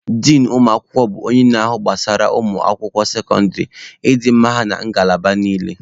Din ụmụ akwụkwọ bụ onye na-ahụ gbasara ụmụ akwụkwọ sekọndịrị, ịdị mma ha na ngalaba niile.